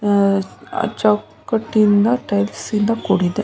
ಆಹ್ಹ್ ಚೌಕಟ್ಟಿನಿಂದ ಟೈಲ್ಸ್ ಇಂದ ಕೂಡಿದೆ.